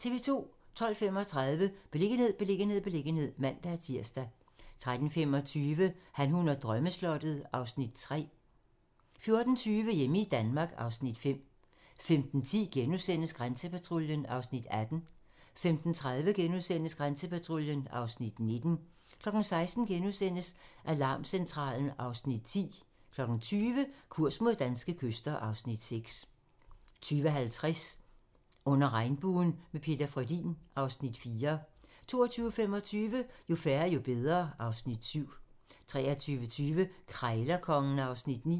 12:35: Beliggenhed, beliggenhed, beliggenhed (man-tir) 13:25: Han, hun og drømmeslottet (Afs. 3) 14:20: Hjemme i Danmark (Afs. 5) 15:10: Grænsepatruljen (Afs. 18)* 15:30: Grænsepatruljen (Afs. 19)* 16:00: Alarmcentralen (Afs. 10)* 20:00: Kurs mod danske kyster (Afs. 6) 20:50: Under Regnbuen - med Peter Frödin (Afs. 4) 22:25: Jo færre, jo bedre (Afs. 7) 23:20: Krejlerkongen (Afs. 9)